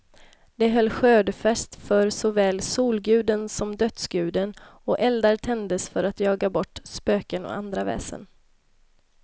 De höll skördefest för såväl solguden som dödsguden, och eldar tändes för att jaga bort spöken och andra väsen.